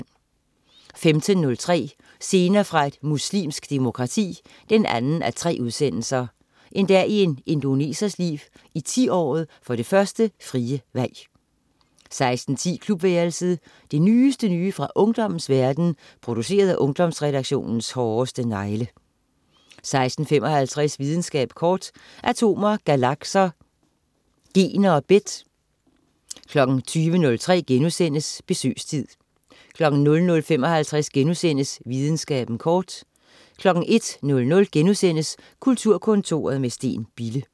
15.03 Scener fra et muslimsk demokrati 2:3. En dag i en indonesers liv, i 10-året for det første frie valg 16.10 Klubværelset. Det nyeste nye fra ungdommens verden, produceret af Ungdomsredaktionens hårdeste negle 16.55 Videnskaben kort. Atomer, galakser, gener og bit 20.03 Besøgstid* 00.55 Videnskaben kort* 01.00 Kulturkontoret med Steen Bille*